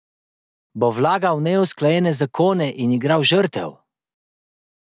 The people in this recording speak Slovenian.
Bo vlagal neusklajene zakone in igral žrtev?